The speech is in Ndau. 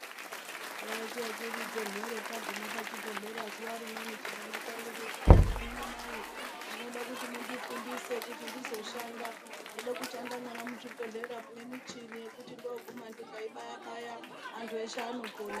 Takaite kuridze mhere taguma pachibhedhlera zuva rimweni chimwana changu chikati inini mai ndinoda kuti mundifundise kuti ndizoshanda, ndoda kushanda muzvibhedhlera munemuchini kuti ndoguma ndikaibayabaya antu eshe anopona.